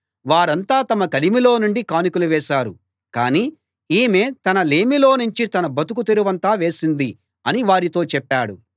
వారంతా తమ కలిమిలో నుండి కానుకలు వేశారు కానీ ఈమె తన లేమిలోనుంచి తన బతుకు తెరువంతా వేసింది అని వారితో చెప్పాడు